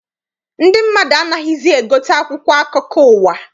Ndị mmadụ anaghịzi egote akwụkwọ akụkọ ụwa.